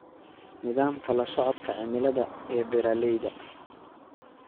Nidaamka la socodka cimilada ee beeralayda.